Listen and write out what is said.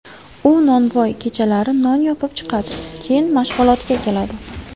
U nonvoy, kechalari non yopib chiqadi, keyin mashg‘ulotga keladi.